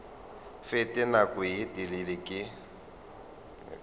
fete nako ye telele ke